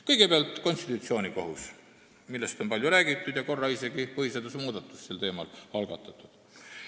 Kõigepealt konstitutsioonikohus, millest on palju räägitud ja korra isegi põhiseaduse muudatus sel teemal algatatud.